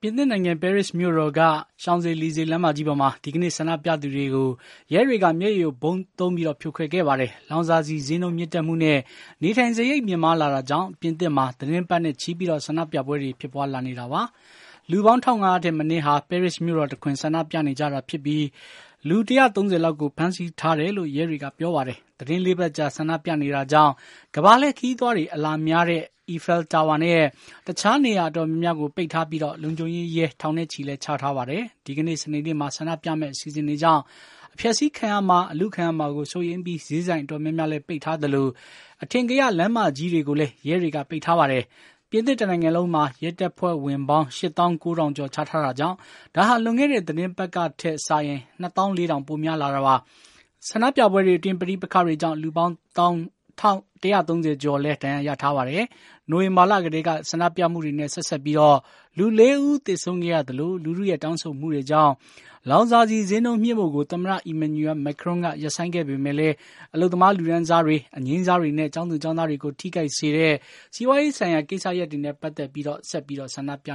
င်သစ်နိုင်ငံ ပဲရစ်မြို့တော်က Champs Elysees လမ်းမကြီးပေါ်မှာ ဒီကနေ့ ဆန္ဒပြသူတွေကို ရဲတွေက မျက်ရည်ယိုဗုံးသုံးပြီး ဖြိုခွဲခဲ့ပါတယ်။ လောင်စာဆီဈေးနှုန်းမြင့်တက်မှုနဲ့ နေထိုင်စားရိတ်မြင့်မားလာတာကြောင့် ပြင်သစ်မှာ သီတင်းပတ်နဲ့ချီ ဆန္ဒပြပွဲတွေ ဖြစ်ပါွးလာနေတာပါ။ လူပေါင်း ၁၅၀၀ ထက်မနည်းဟာ ပဲရစ်မြို့တော်တခွင် ဆန္ဒပြနေကြတာဖြစ်ပြီး လူ ၁၃၀ လောက်ကို ဖမ်းဆီးထားတယ်လို့ ရဲတွေက ပြောပါတယ်။ သီတင်း ၄ ပတ်ကြာ ဆန္ဒပြနေတာကြောင့် ကမ္ဘာလှည့်ခရီးသွားတွေ အလာများတဲ့ အီဖယ်လ်တာဝါနဲ့ တခြားနေရာအတော်များများကို ပိတ်ထားပြီး လုံခြုံရေးရဲ ထောင်နဲ့ချီလည်း ချထားပါတယ်။ ဒီကနေ့ စနေနေ့မှာ ဆန္ဒပြမယ့် အစီအစဉ်ကြောင့် အဖျက်ဆီးခံရမှာ အလုခံရမှာကို စိုးရိမ်ပြီး ဈေးဆိုင်အတော်များများလည်း ပိတ်ထားသလို အထင်ကရလမ်းမကြီးတွေကိုလည်း ရဲတွေက ပိတ်ထားပါတယ်။ ပြင်သစ်တနိုင်ငံလုံးမှာ ရဲတပ်ဖွဲ့ဝင်ပေါင်း ၈၉၀၀၀ ကျော် ချထားတာကြောင့် ဒါဟာ လွန်ခဲ့တဲ့ သီတင်းပတ်ကထက် ၂၄၀၀၀ ပိုများလာတာပါ။ ဆန္ဒပြပွဲတွေအတွင်း ပဋိပက္ခတွေကြောင်း လူပေါင်း ၁၃၀ ကျော်လည်း ဒဏ်ရာရထားပါတယ်။ နိုဝင်ဘာလကတည်းက ဆန္ဒပြမှုတွေနဲ့ ဆက်စပ်ပြီး လူ ၄ ဦး သေဆုံးခဲ့ရသလို လူထုရဲ့တောင်းဆိုမှုတွေကြောင့် လောင်စာဆီဈေးနှုန်းမြှင့်ဖို့ကို သမ္မတ Emmanuel Macron က ရပ်ဆိုင်းခဲ့ပေမယ့်လည်း အလုပ်သမားလူတန်းစားတွေ၊ အငြိမ်းစားတွေနဲ့ ကျောင်းသူကျောင်းသားတွေကို ထိခိုက်စေတဲ့ စီးပွားရေးဆိုင်ရာ ကိစ္စရပ်တွေနဲ့ ပတ်သတ်ပြီး ဆက်ပြီး ဆန္ဒပြ